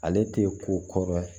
Ale tɛ ko kɔrɔ